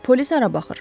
Bəs polis hara baxır?